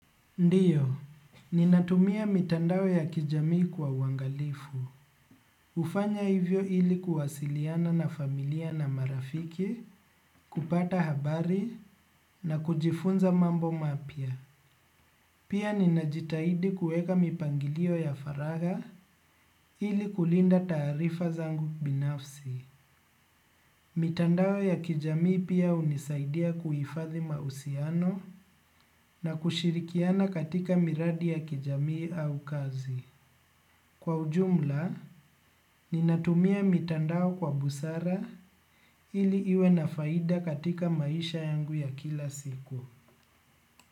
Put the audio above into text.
Ndiyo, ninatumia mitandao ya kijamii kwa uangalifu. Hufanya hivyo ili kuwasiliana na familia na marafiki, kupata habari na kujifunza mambo mapya. Pia ninajitahidi kueka mipangilio ya faragha ili kulinda taarifa zangu binafsi. Mitandao ya kijamii pia hunisaidia kuhifadhi mahusiano na kushirikiana katika miradi ya kijamii au kazi. Kwa ujumla, ninatumia mitandao kwa busara ili iwe na faida katika maisha yangu ya kila siku.